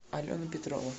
алена петрова